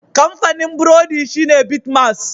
Kamfanin burodi shine Bitmas.